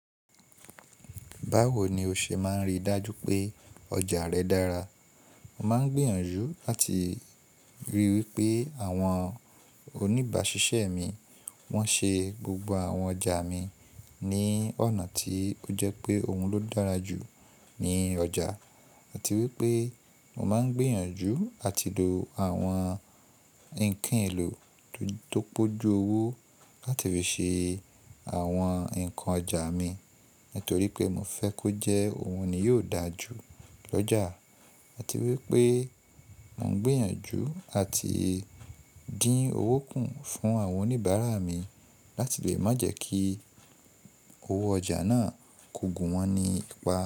Báwo ni o ṣe máa ń rí dájú pé ọjà rẹ dára? Mo máa ń gbìyànjú láti ríi wí pé àwọn oníbàṣiṣẹ́ mi wọ́n ṣe gbogbo àwọn ọjà mi ní ọ̀nà tí ó jẹ́ pé òun ló dára jù ní ọjà, àti wípé mo máa ń gbìyànjú àti lò àwọn ǹkan èlò tó pọ́jú owó láti fi ṣe àwọn ǹkan ọjà mi nítorí pé mo fẹ́ kó jẹ́ òun ni yóò dára jù lọ́jà, àti wípé mo ń gbìyànjú àti dín owó kún fún àwọn oníbàárà mi láti lè má jẹ́ kí owó ọjà náà kó gun wọn ní apá.